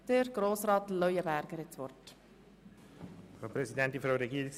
Der Antragsteller hat das Wort.